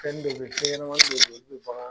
Fɛnnin dɔ bɛ yen, fɛn ɲɛnamanin dɔ bɛ yen olu bɛ bagan